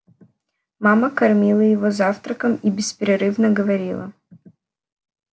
мама кормила его завтраком и беспрерывно говорила